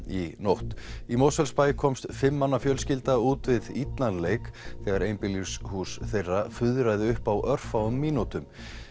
í nótt í Mosfellsbæ komst fimm manna fjölskylda út við illan leik þegar einbýlishús þeirra fuðraði upp á örfáum mínútum